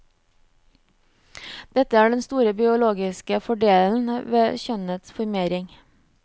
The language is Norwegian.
Dette er den store biologoske fordelen ved kjønnet formering.